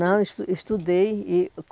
Não, es estudei e.